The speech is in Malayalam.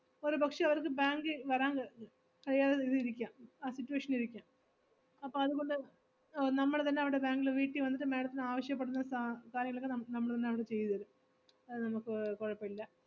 ഒരു പക്ഷെ അവർക്ക് bank ഇ വരാൻ ക~ കഴിയാതെ ഇരിക്കാം, ആ situation ഇ ഇരിക്കാം, അപ്പൊ അതുകൊണ്ട് അഹ് നമ്മള് തന്നെ അവിടെ bank ല് വീട്ടി വന്നിട്ട് madam ത്തിന് ആവശ്യപ്പെടുന്ന സാ~ കാര്യങ്ങളൊക്കെ നമു~ നമ്മള് വന്ന്‌ അവിടെ ചെയ്‌ത്‌ തരും. അത് നമുക്ക് കുഴപ്പയില്ല.